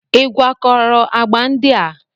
Ị gwakọrọ agba ndị a?